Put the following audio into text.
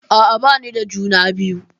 A'a bani da juna biyu.